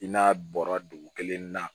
I n'a bɔra dugu kelen na